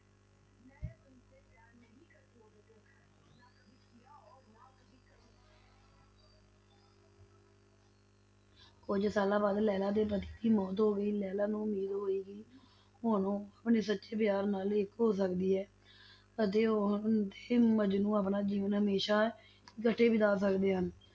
ਕੁੱਝ ਸਾਲਾਂ ਬਾਅਦ, ਲੈਲਾ ਦੇ ਪਤੀ ਦੀ ਮੌਤ ਹੋ ਗਈ, ਲੈਲਾ ਨੂੰ ਉਮੀਦ ਹੋਈ ਕਿ ਹੁਣ ਉਹ ਆਪਣੇ ਸੱਚੇ ਪਿਆਰ ਨਾਲ ਇੱਕ ਹੋ ਸਕਦੀ ਹੈ ਅਤੇ ਉਹ ਤੇ ਮਜਨੂੰ ਆਪਣਾ ਜੀਵਨ ਹਮੇਸ਼ਾ ਇਕੱਠੇ ਬਿਤਾ ਸਕਦੇ ਹਨ,